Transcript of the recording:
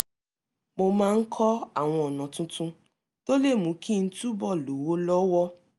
mo máa ń kọ́ àwọn ọ̀nà tuntun tó lè mú kí n túbọ̀ lówó lọ́wọ́